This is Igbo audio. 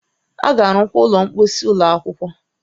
A ga-arụkwa ụlọ mposi ụlọ akwụkwọ